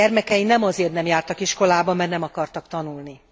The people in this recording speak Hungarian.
Józsefék gyermekei nem azért nem jártak iskolába, mert nem akartak tanulni.